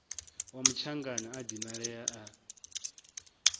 wa mutshangana a dinalea a